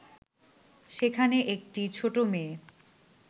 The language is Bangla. সেখানে একটি ছোট মেয়ে